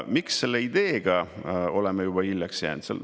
Miks selle ideega oleme juba hiljaks jäänud?